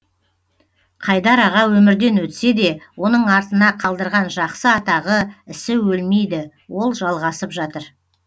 қайдар аға өмірден өтсе де оның артына қалдырған жақсы атағы ісі өлмейді ол жалғасып жатыр